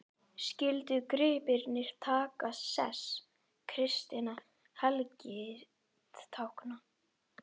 Skyldu gripirnir taka sess kristinna helgitákna.